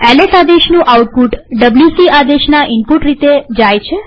LS આદેશનું output WC આદેશના input રીતે જાય છે